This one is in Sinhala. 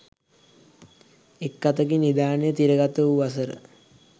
එක් අතකින් නිධානය තිරගත වූ වසර